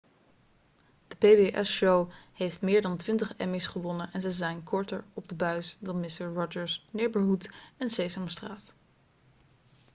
de pbs-show heeft meer dan twintig emmy's gewonnen en ze zijn korter op de buis dan mister rogers' neighborhood en sesamstraat